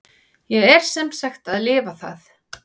Ég er sem sagt að lifa það.